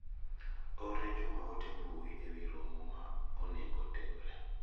orne Juma ote mbui ewi romo ma onego otimre.